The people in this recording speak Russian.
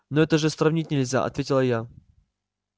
ну это же сравнивать нельзя ответила я